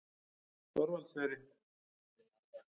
Þorvaldseyri